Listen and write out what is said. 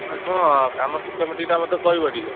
ତମେ ଶୁଣ କାମ systematic ମତେ କହିବ ଟିକେ।